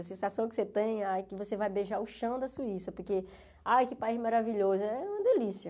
A sensação que você tem, ai, que você vai beijar o chão da Suíça, porque, ai, que país maravilhoso, é uma delícia.